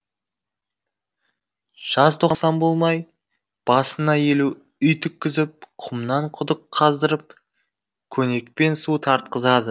жазтоқсан болмай басына елу үй тіккізіп құмнан құдық қаздырып көнекпен су тартқызады